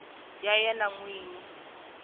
ya yena n wini na